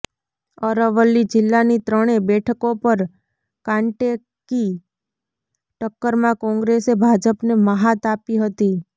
અરવલ્લી જિલ્લાની ત્રણે બેઠકો પર કાંટેકી ટક્કરમાં કોંગ્રેસે ભાજપને મહાત આપી હતી